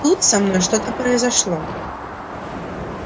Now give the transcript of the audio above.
тут со мной что-то произошло